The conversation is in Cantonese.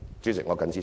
主席，我謹此陳辭。